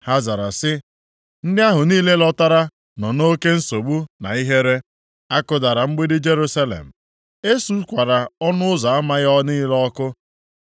Ha zara si: “Ndị ahụ niile lọtara + 1:3 E kewara alaeze Peshịa mpaghara atọ. Nʼobodo Sameria ka ndị na-achị mpaghara Juda nọ. nọ nʼoke nsogbu na ihere. A kụdara mgbidi Jerusalem; e sukwara ọnụ ụzọ ama ya niile ọkụ.”